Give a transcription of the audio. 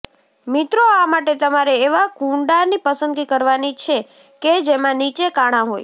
મિત્રો આ માટે તમારે એવા કૂંડાની પસંદગી કરવાની છે કે જેમાં નીચે કાણા હોય